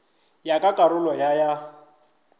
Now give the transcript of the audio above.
ya ka karolo ya ya